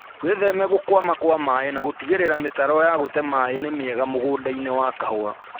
Wĩtheme gũkwama kwa maĩĩ na gũtigĩrĩra mĩtaro ya gũte maĩĩ nĩ mĩega mũgũndainĩ wa kahũa